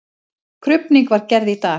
Krufning var gerð í dag.